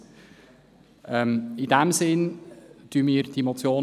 Wir unterstützen in diesem Sinn die Motion.